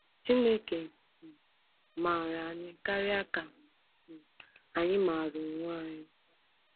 Chineke um maara anyị karịa ka um anyị maara onwe anyị.